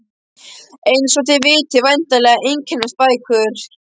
Eins og þið vitið væntanlega einkennast bækur